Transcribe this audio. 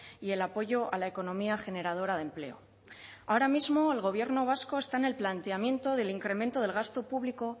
y el apoyo a la economía generadora de empleo ahora mismo el gobierno vasco está en el planteamiento del incremento del gasto público